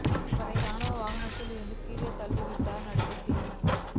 அவரை ராணுவ வாகனத்தில் இருந்து கீழே தள்ளிவிட்டார் நடிகர் தீபன்